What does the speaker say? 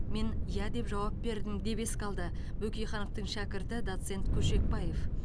мен иә деп жауап бердім деп еске алды бөкейхановтың шәкірті доцент көшекбаев